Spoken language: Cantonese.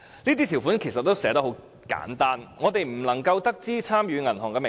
上述條款其實寫得很簡單，我們並不能知悉參與的銀行名稱。